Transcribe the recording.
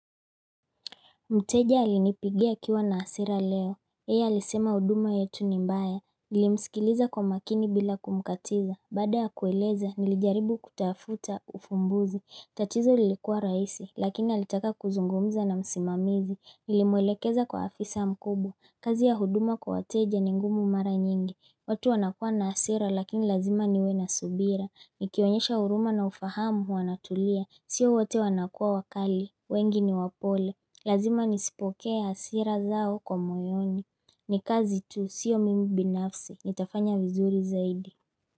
Mteja alinipigia kiwa na hasira leo. Yeye alisema huduma yetu ni mbaya. Nilimsikiliza kwa makini bila kumkatiza. Baada ya kueleza, nilijaribu kutafuta ufumbuzi. Tatizo lilikuwa raisi, lakini alitaka kuzungumza na msimamizi. Nilimwelekeza kwa afisa mkubwa. Kazi ya huduma kwa wateja ni ngumu mara nyingi. Watu wanakua na hasira, lakini lazima niwe na subira. Nikionyesha huruma na ufahamu huanatulia. Sio wote wanakua wakali. Wengi ni wapole. Lazima nisipokea hasira zao kwa moyoni ni kazi tu siyo mimi binafsi Nitafanya vizuri zaidi.